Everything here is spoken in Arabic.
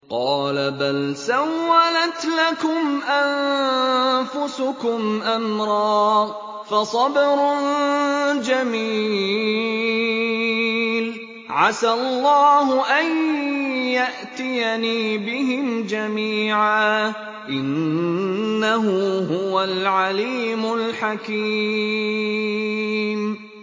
قَالَ بَلْ سَوَّلَتْ لَكُمْ أَنفُسُكُمْ أَمْرًا ۖ فَصَبْرٌ جَمِيلٌ ۖ عَسَى اللَّهُ أَن يَأْتِيَنِي بِهِمْ جَمِيعًا ۚ إِنَّهُ هُوَ الْعَلِيمُ الْحَكِيمُ